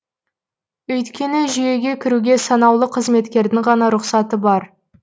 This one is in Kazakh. өйткені жүйеге кіруге санаулы қызметкердің ғана рұқсаты бар